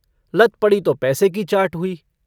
लत पड़ी तो पैसे की चाट हुई।